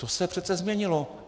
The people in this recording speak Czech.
To se přece změnilo.